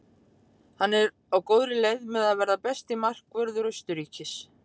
Hann er á góðri leið með að verða besti markvörður Austurríkis.